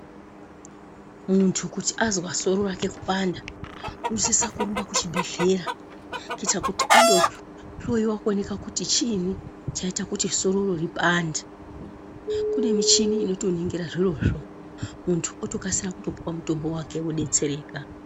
Muntu kuti azwa soro rake kupanda, unosisa kurumba kuchibhedhlera kuitira kuti andohloiwa kuonekwa kuti chiinyi chaita kuti soro ro ripande. Kune michini inotoningira zvirozvo, muntu otokasira kupuwa mutombo wake, odetsereka.